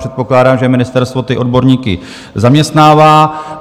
Předpokládám, že ministerstvo ty odborníky zaměstnává.